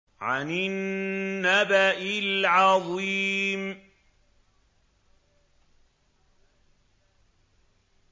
عَنِ النَّبَإِ الْعَظِيمِ